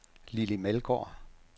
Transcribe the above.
Lilli Meldgaard